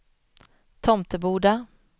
Tomteboda